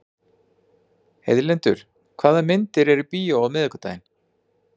Heiðlindur, hvaða myndir eru í bíó á miðvikudaginn?